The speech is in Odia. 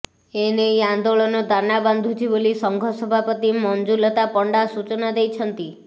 ଏ ନେଇ ଆନ୍ଦୋଳନ ଦାନା ବାନ୍ଧୁଛି ବୋଲି ସଂଘ ସଭାପତି ମଞ୍ଜୁଲତା ପଣ୍ଡା ସୂଚନା ଦେଇଛନ୍ତି